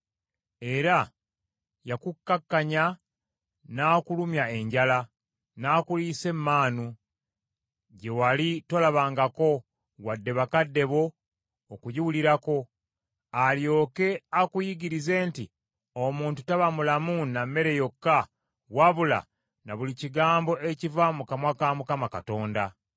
Era yakukkakkanya n’akulumya enjala, n’akuliisa emmaanu, gye wali tolabangako wadde bakadde bo okugiwulirako, alyoke akuyigirize nti omuntu taba mulamu na mmere yokka, wabula na buli kigambo ekiva mu kamwa ka Mukama Katonda.